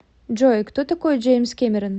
джой кто такой джеймс кэмерон